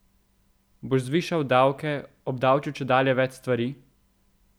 Boš zvišal davke, obdavčil čedalje več stvari?